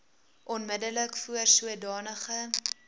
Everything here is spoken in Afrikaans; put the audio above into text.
onmiddellik voor sodanige